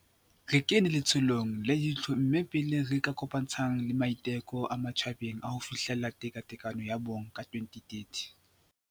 Re kene letsholong le itlho-mmeng pele le re kopantshang le maiteko a matjhabeng a ho fihlella tekatekano ya bong ka 2030.